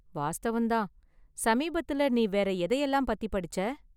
வாஸ்தவம் தான், சமீபத்துல நீ வேற எதையெல்லாம் பத்தி படிச்ச?